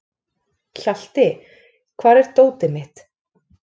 Hjalti, hvar er dótið mitt?